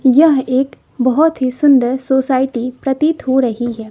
यह एक बोहोत ही सुंदर सोसायटी प्रतीत हो रही हैं।